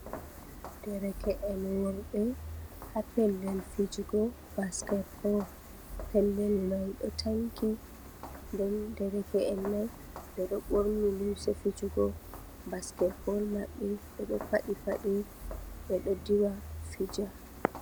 Dereke’en worbe ha pellel fijugo basketball. Pellel mai do tanki, nde dereke’en mai bedo borni limse fijugo basketball mabbe bedo padi pade bedo diwa, fija.